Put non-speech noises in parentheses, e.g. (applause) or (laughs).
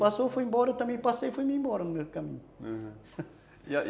Passou, foi embora, eu também passei e fui embora no mesmo caminho, aham, (laughs) e aí?